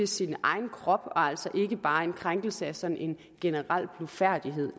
sin egen krop og altså ikke bare som en krænkelse af sådan en generel blufærdighed